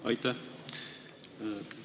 Aitäh!